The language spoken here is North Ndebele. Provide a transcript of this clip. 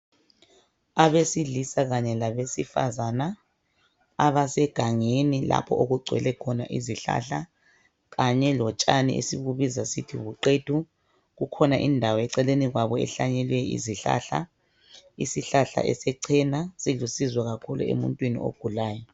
Abasilisa kanye labesifazana abasegani lapho okugcwele khona izihlahla kanye lotshani esibubiza sithi buqethu kukhona indawo eceleni kwabo ehlanyele izihlahla isihlahla esechena silusizo kakhulu emuntwini ogulayo.